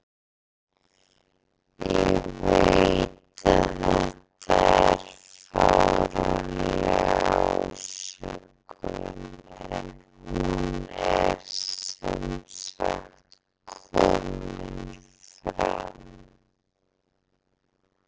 Ég veit að þetta er fáránleg ásökun en hún er sem sagt komin fram.